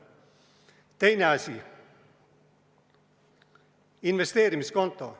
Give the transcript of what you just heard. Teine asi, investeerimiskonto.